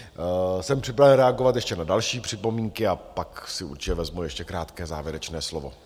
Jsem připraven reagovat ještě na další připomínky a pak si určitě vezmu ještě krátké závěrečné slovo.